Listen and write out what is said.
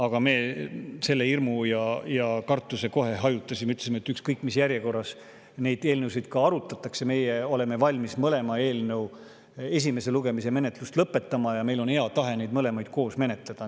Aga me selle hirmu ja kartuse kohe hajutasime, ütlesime, et ükskõik mis järjekorras neid eelnõusid arutatakse, meie oleme valmis mõlema eelnõu esimese lugemise menetlust lõpetama ja meil on hea tahe neid mõlemaid koos menetleda.